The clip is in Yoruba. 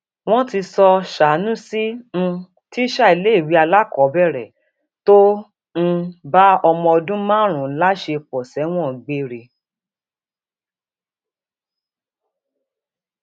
wọn ti sọ sànúsì um tísà iléèwé alákọọbẹrẹ tó um bá ọmọọdún márùnún láṣepọ sẹwọn gbére